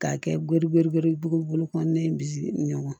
K'a kɛ gerebere ye buguru kɔnɔna in bi ɲɔgɔn